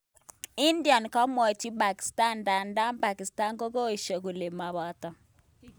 india komwatin Pakistan ndadan Pakistan kokoesha kole kipataa